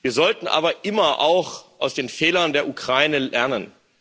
Wir sollten aber immer auch aus den Fehlern der Ukraine lernen.